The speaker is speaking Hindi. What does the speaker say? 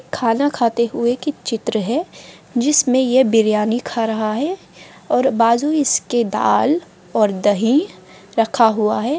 खाना खाते हुए की चित्र है जिसमें यह बिरयानी खा रहा है और बाजू इसके दाल और दही रखा हुआ है।